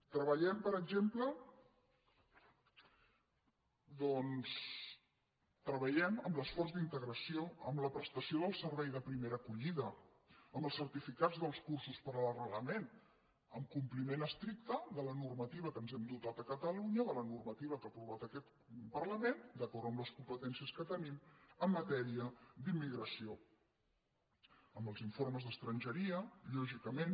treballem per exemple doncs en l’esforç d’integració amb la prestació del servei de primera acollida amb els certificats dels cursos per a l’arrelament amb compliment estricte de la normativa de què ens hem dotat a catalunya de la normativa que ha aprovat aquest parlament d’acord amb les competències que tenim en matèria d’immigració amb els informes d’estrangeria lògicament